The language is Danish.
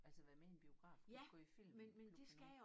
Altså være med i en biografklub gå i filmklub med nogen